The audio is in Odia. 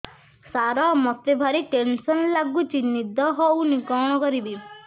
ସାର ମତେ ଭାରି ଟେନ୍ସନ୍ ଲାଗୁଚି ନିଦ ହଉନି କଣ କରିବି